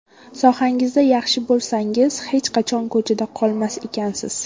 Sohangizni yaxshi bilsangiz hech qachon ko‘chada qolmas ekansiz.